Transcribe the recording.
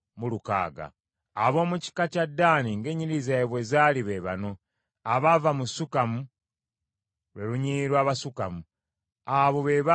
Ab’omu kika kya Ddaani ng’ennyiriri zaabwe bwe zaali be bano: abaava mu Sukamu, lwe lunyiriri lw’Abasukamu. Abo be baava mu Ddaani.